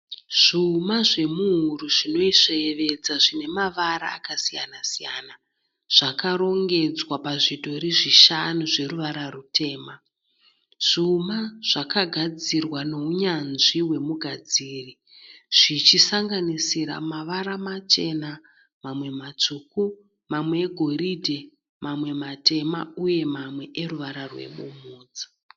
Zvuma zvemuhuro zvinoyevedza zvine mavara akasiyana siyana zvakarongedzwa pazvidhori zvishanu zveruvara rutema. Zvuma zvakagadzikwa neunyanzvi wemugadziri zvichisanganisira mavara machena, matsvuku mamwe egoridhe mamwe matema uye mamwe eruvara rwebvudzi.